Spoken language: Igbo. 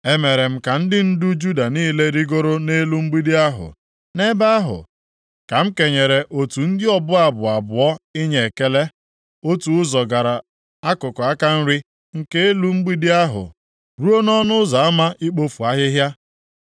E mere m ka ndị ndu Juda niile rigoro nʼelu mgbidi ahụ. Nʼebe ahụ ka m kenyere otu ndị ọbụ abụ abụọ inye ekele. Otu ụzọ gara akụkụ aka nri nke elu mgbidi ahụ ruo nʼỌnụ Ụzọ Ama Ikpofu Ahịhịa.